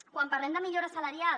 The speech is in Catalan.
quan parlem de millora salarial